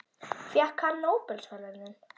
Fékk hann nóbelsverðlaunin?